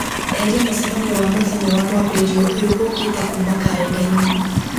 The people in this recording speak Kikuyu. eheria mũcemanio wa mũthenya wa mwambĩrĩrio ũyũ ũũkĩte kuma karenda-inĩ